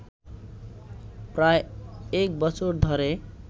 প্রায় এক বছর ধরে